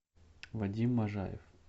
вадим можаев